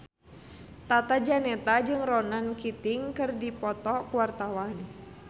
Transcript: Tata Janeta jeung Ronan Keating keur dipoto ku wartawan